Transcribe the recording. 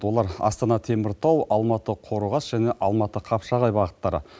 олар астана теміртау алматы қорғас және алматы қапшағай бағыттары